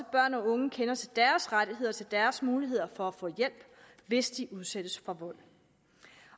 børn og unge kender til deres rettigheder og til deres muligheder for at få hjælp hvis de udsættes for vold